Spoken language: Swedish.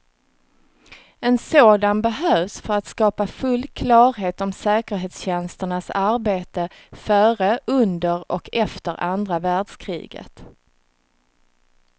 En sådan behövs för att skapa full klarhet om säkerhetstjänsternas arbete före, under och efter andra världskriget.